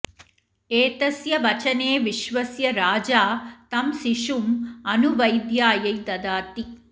एतस्य वचने विश्वस्य राजा तं शिशुम् अनुवैद्यायै ददाति